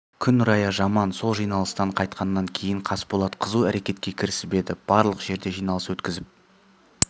күн райы жаман сол жиналыстан қайтқаннан кейін қасболат қызу әрекетке кірісіп еді барлық жерде жиналыс өткізіп